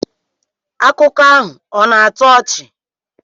Akụkọ ahụ ọ̀ na-atọ ọchị?